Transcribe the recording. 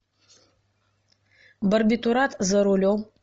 барбитурат за рулем